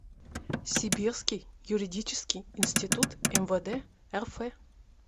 сибирский юридический институт мвд рф